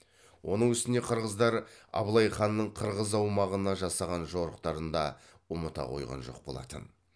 оның үстіне қырғыздар абылай ханның қырғыз аумағына жасаған жорықтарын да ұмыта қойған жоқ болатын